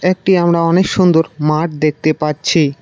একটি আমরা অনেক সুন্দর মাঠ দেখতে পাচ্ছি।